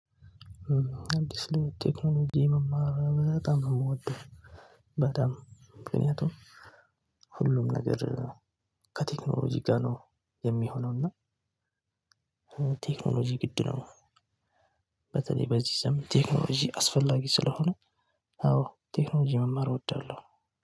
አንድ ስለውጥ ቴክኖሎጂ መማር በጣም ነው የምወደው። በጣም ምክንያቱም ሁሉም ነገር ከቴክኖሎጂ ጋር ነው የሚሆነው። እና ቴክኖሎጂ ግድ ነው። በተለይ በዚህ ዘመን ቴክኖሎጂ አስፈላጊ ስለሆነ አዎ ቴክኖሎጂ መማር እወዳለሁ